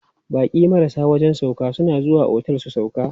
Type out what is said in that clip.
Baƙi marasa wajen sauƙa suna zuwa otel su sauƙa.